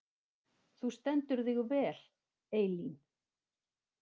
Þú stendur þig vel, Eylín!